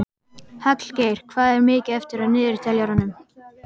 Hallgeir, hvað er mikið eftir af niðurteljaranum?